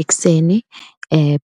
Ekuseni